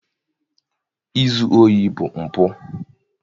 Izu ohi bụ mpụ.